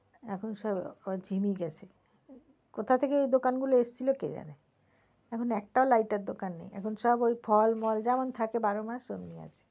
এখন সব ঝিমিয়ে গেছে, কোথা থেকে ওই দোকান গুলো এসেছিলো কে জানে? এখন একটাও light এর দোকান নেই এখন সব ওই ফল মল যেমন থাকে বারো মাস ওমনি আছে।